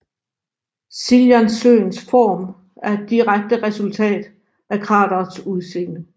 Siljansøens form er et direkte resultat af kraterets udseende